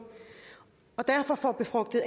og derfor får befrugtet